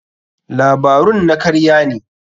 Labarun na karya ne.